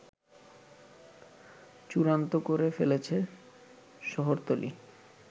চূড়ান্ত করে ফেলেছে শহরতলী